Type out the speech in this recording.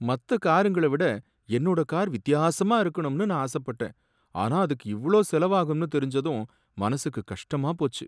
மத்த காருங்கள விட என்னோட கார் வித்தியாசமா இருக்கணும்னு நான் ஆசப்பட்டேன், ஆனா அதுக்கு இவ்ளோ செலவாகும்னு தெரிஞ்சதும் மனசுக்கு கஷ்டமா போச்சு